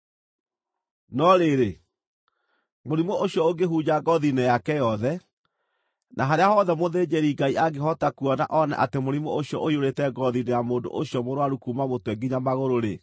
“No rĩrĩ, mũrimũ ũcio ũngĩhunja ngoothi-inĩ yake yothe, na harĩa hothe mũthĩnjĩri-Ngai angĩhota kuona oone atĩ mũrimũ ũcio ũiyũrĩte ngoothi-inĩ ya mũndũ ũcio mũrũaru kuuma mũtwe nginya magũrũ-rĩ,